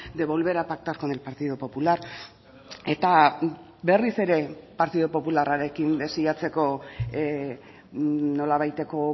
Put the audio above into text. de volver a pactar con el partido popular eta berriz ere partidu popularrarekin desiatzeko nolabaiteko